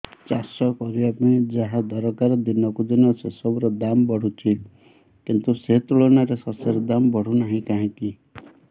ଚାଷ କରିବା ପାଇଁ ଯାହା ଦରକାର ଦିନକୁ ଦିନ ସେସବୁ ର ଦାମ୍ ବଢୁଛି କିନ୍ତୁ ସେ ତୁଳନାରେ ଶସ୍ୟର ଦାମ୍ ବଢୁନାହିଁ କାହିଁକି